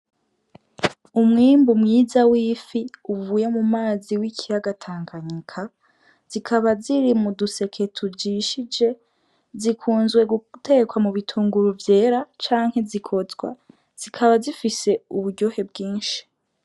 Umwimbu mwiza w'ifi uvuye mumazi y' ikiyaga Tanganyika zikaba ziri mu duseke tujishije zikunzwe gutekwa mu bitunguru vyera canke zikotswa zikaba zifise uburyohe bwinshi.